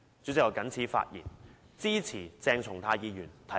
主席，我謹此陳辭，支持鄭松泰議員提出的議案。